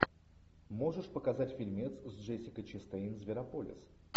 можешь показать фильмец с джессикой честейн зверополис